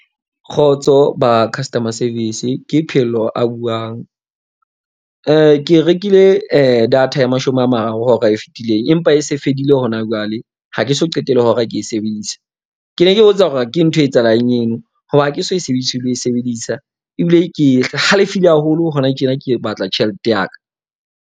Kgotso ba customer service. Ke Phehello a buang. Ke rekile data ya mashome a mararo hora e fetileng. Empa e se fedile hona jwale. Ha ke so qete le hora ke e sebedisa. Ke ne ke botsa hore ke ntho e etsahalang eno, hoba ha ke so e sebedise ho e sebedisa. Ebile ke halefile haholo hona tjena ke batla tjhelete ya ka.